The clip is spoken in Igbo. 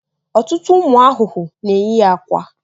Ọtụtụ ụmụ ahụhụ na-eyi akwa.